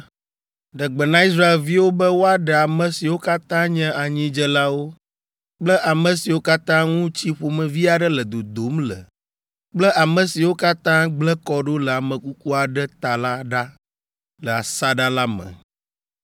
“Ɖe gbe na Israelviwo be woaɖe ame siwo katã nye anyidzelawo kple ame siwo katã ŋu tsi ƒomevi aɖe le dodom le kple ame siwo katã gblẽ kɔ ɖo le ame kuku aɖe ta la ɖa le asaɖa la me.